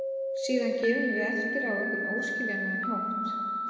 Síðan gefum við eftir á einhvern óskiljanlegan hátt.